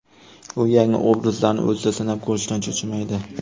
U yangi obrazlarni o‘zida sinab ko‘rishdan cho‘chimaydi.